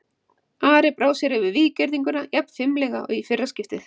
Ari brá sér yfir víggirðinguna jafn fimlega og í fyrra skiptið.